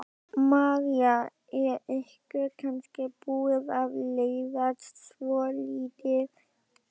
María: Er ykkur kannski búið að leiðast svolítið?